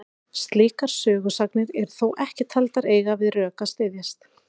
Slíkar sögusagnir eru þó ekki taldar eiga við rök að styðjast.